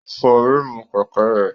Ó fọ ríìmù kẹ̀kẹ́ rẹ̀.